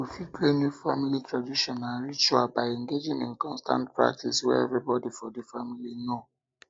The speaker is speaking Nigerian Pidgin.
we fit create new family um tradition and ritual by engagin in um constant practice wey everybody for di family know